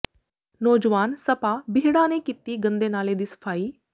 ਨੌਜਵਾਨ ਸਭਾ ਬੀਹੜਾਂ ਨੇ ਕੀਤੀ ਗੰਦੇ ਨਾਲੇ ਦੀ ਸਫ਼ਾਈ